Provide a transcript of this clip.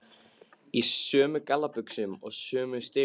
Í sömu gallabuxunum og sömu strigaskónum.